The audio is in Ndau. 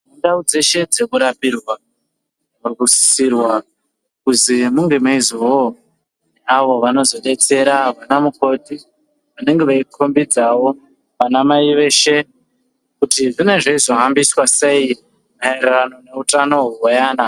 Ndau dzeshe dzekurapirwa dzinosisirwa kuzi munge meizovawo avo vanozobetsera vana mukoti vanenga veikombedzawo vana mai veshe kuti zvinonga zveizofambiswa sei meyererano neutano hwevana .